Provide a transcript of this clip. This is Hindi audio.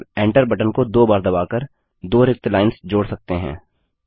हम Enter बटन को दो बार दबाकर दो रिक्त लाइन्स जोड़ सकते हैं